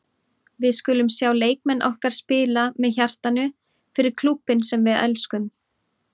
Við viljum sjá leikmenn okkar spila með hjartanu- fyrir klúbbinn sem við elskum.